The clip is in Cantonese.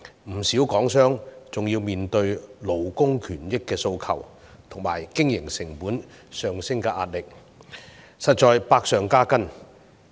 不少港商還要面對勞工權益的訴求及經營成本上升的壓力，實在是百上加斤。